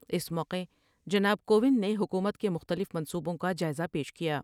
اس موقعے جناب کو وند نے حکومت کے مختلف منصوبوں کا جائزہ پیش کیا ۔